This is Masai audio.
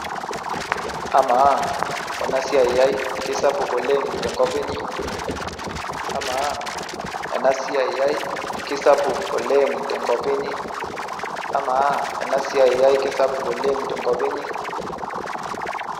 Amaa ena siai ai kisapuk oleng tenkop inyi amaa ena siai ai kisapuk oleng tenkop inyi amaa ena siai ai kisapuk oleng tenkop inyi.